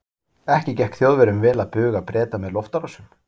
Ekki gekk Þjóðverjum vel að buga Breta með loftárásum.